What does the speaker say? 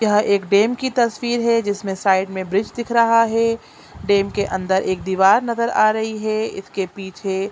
यह एक डैम की तस्वीर है जिसमे साइड मे ब्रिज दिख रहा है डैम के अंदर एक दीवार नज़र आ रही है इसके पीछे---